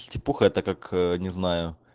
стипуха это как не знаю